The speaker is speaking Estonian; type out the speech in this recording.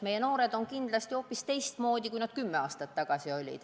Meie noored on kindlasti hoopis teistsugused, kui nad olid kümme aastat tagasi.